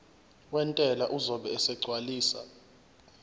wentela uzobe esegcwalisa